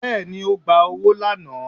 bẹẹni ogba ọwọ laná